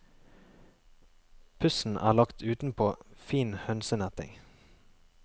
Pussen er lagt utenpå fin hønsenetting.